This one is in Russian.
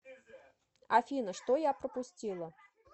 афина что я пропустила